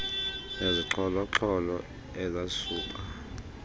nezixholo xholo ezasuba